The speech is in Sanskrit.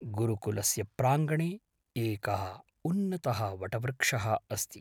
गुरुकुलस्य प्राङ्गणे एकःउन्नतः वटवृक्षः अस्ति।